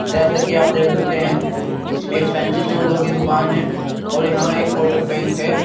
जैसे कि आप देख सकते हैं एक फैंसी सूजों की दुकान है और यहाँ एक कोटक बैंक है।